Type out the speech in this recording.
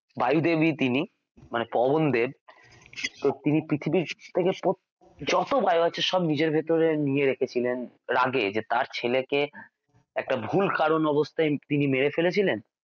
বায়ু দেব ই তিনি মানে পবনদেব তো তিনি পৃথিবীর থেকে . যত বায়ু আছে সব নিজের ভেতরে নিয়ে রেখেছিলেন রাগে যে তাঁর ছেলেকে একটা ভুল কারণ অবস্থায় তিনি মেরে ফেলেছিলেন